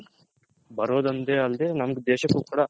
ಬರೋದ್ ಒಂದೇ ಅಲ್ದೆ ನಮ್ ದೇಶಕ್ಕೂ ಕೂಡ